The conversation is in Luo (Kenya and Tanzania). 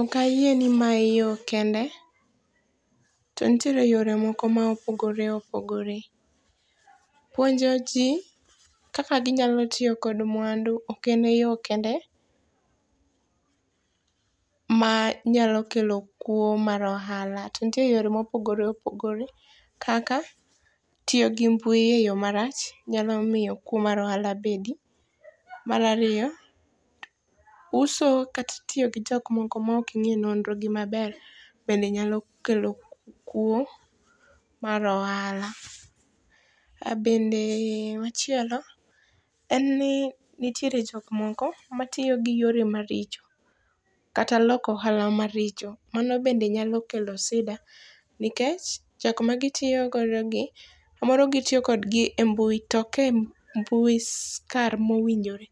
Ok ayie ni mae yo kende. To nitiere yore moko ma opogore opogore. Puonjo ji kaka ginyalo tiyo kod mwandu ok ene yo kende ma nyalo kelo kuo mar ohala. To nitiere yore mopogore opogore kaka tiyo gi mbui e yo marach nyalo miyo kuo mar ohala bedi. Mar ariyo, uso kata tiyo gi jok moko mok ing'e nonro gi maber bende nyalo kelo kuo mar ohala. Bende machielo en nitiere jok moko matiyo gi yore maricho kata loko ohala maricho mano bende nyalo kelo sida. Nikech, jok ma gitiyogodo gi samoro gitiyo kodgi e mbui tok e mbui kar moweinjore.